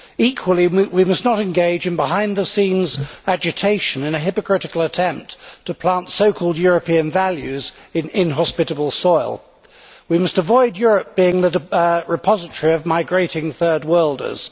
Equally, we must not engage in behind the scenes agitation in a hypocritical attempt to plant so called European values' in inhospitable soil. We must avoid Europe being the repository of migrating Third Worlders.